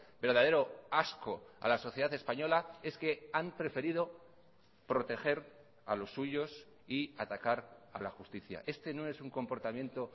verdadero asco a la sociedad española es que han preferido proteger a los suyos y atacar a la justicia este no es un comportamiento